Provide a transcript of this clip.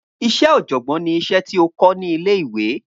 Iṣẹ́ oọ̀jọ̀gbọ́n ni iṣẹ́ tí o kọ́ ní ilé ìwé